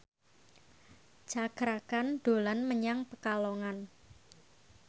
Cakra Khan dolan menyang Pekalongan